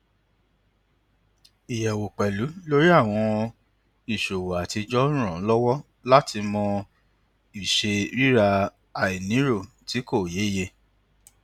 ìyẹwò pẹlú lórí àwọn ìṣòwò atijọ ń ràn án lọwọ láti mọ ìṣe rírà àìnírò tí kò yéye